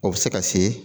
O bɛ se ka se